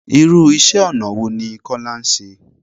Irú iṣẹ́ ọ̀nà wo ní Kọ́lá ṣe?